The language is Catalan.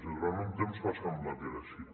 i durant un temps va semblar que era així